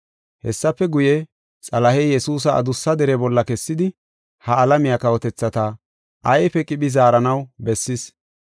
Hessafe guye, Xalahey Yesuusa adussa dere bolla kessidi ha alamiya kawotethata ayfe qiphi zaaranaw bessis.